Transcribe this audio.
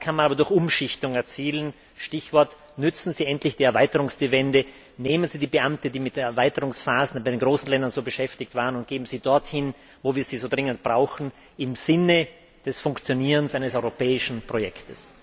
Das kann man aber durch Umschichtung erzielen Stichwort Nützen Sie endlich die Erweiterungsdividende, nehmen Sie die Beamten, die mit den Erweiterungsphasen bei den großen Ländern so beschäftigt waren und setzen Sie sie dort ein, wo wir sie so dringend brauchen, im Sinne des Funktionierens eines europäischen Projekts!